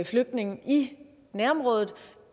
flygtninge i nærområdet